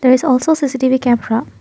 there is also C_C T_V camera.